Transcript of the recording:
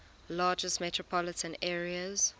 largest metropolitan areas